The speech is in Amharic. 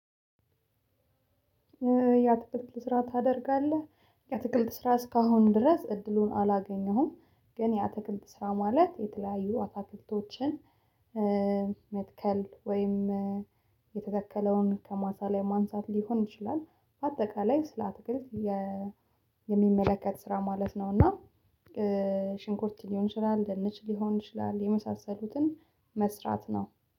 የአትክልት ስራ ታደርጋለህ? የአትክልት ስራ እስካሁን ድረስ እድሉን አላገኘሁም ግን የአትክልት ስራ ማለት የተለያዩ አታክልቶችን መትከል ወይም የተተከለውን ከማሳ ላይ ማንሳት ሊሆን ይችላል በአጠቃላይ ስለአትክልት የ የሚመለከት ስራ ማለት ነው እና ሽንኩርት ሊሆን ይችላል ድንች ሊሆን ይችላል የመሳሰሉትን መስራት ነው